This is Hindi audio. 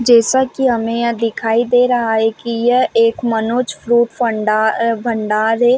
जैसा की हमें यहाँ दिखाई दे रहा है की यह एक मनोज फ्रूट फंडार भंडार है।